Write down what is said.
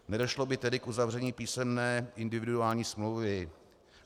Nedošlo by tedy k uzavření písemné individuální smlouvy.